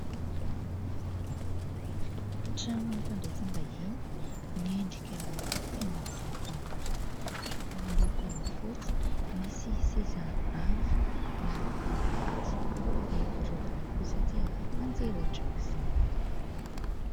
Trano fandraisam-bahiny, miendrika tena mahafinaritra. Miloko fotsy, misy seza avo miloko mainty, ny gorodona kosa dia manjelatra aok'izany.